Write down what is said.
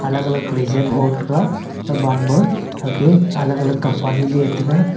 alag alag kreason ho taga haman ma hagay alag alag company ley taga.